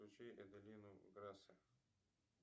включи эделину грасе